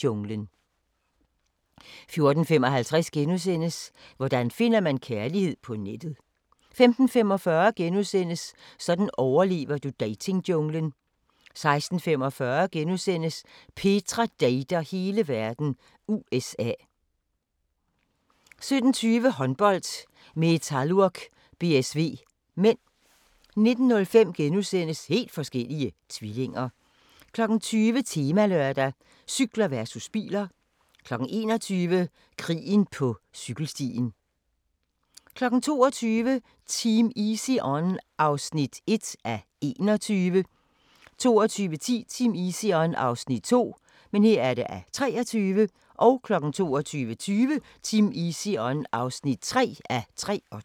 14:55: Hvordan finder man kærligheden på nettet? * 15:45: Sådan overlever du datingjunglen * 16:45: Petra dater hele verden – USA * 17:20: Håndbold: Metalurg-BSV (m) 19:05: Helt forskellige tvillinger * 20:00: Temalørdag: Cykler versus biler 21:00: Krigen på cykelstien 22:00: Team Easy On (1:21) 22:10: Team Easy On (2:23) 22:20: Team Easy On (3:23)